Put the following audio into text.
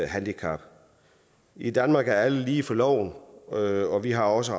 handicap i danmark er alle lige for loven og vi har også